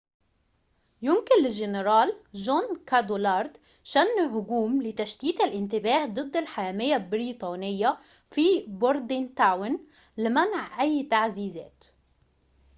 يمكن للجنرال جون كادوالادر شن هجوم لتشتيت الانتباه ضد الحامية البريطانية في بوردينتاون لمنع أي تعزيزات